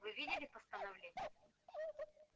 вы видели постановление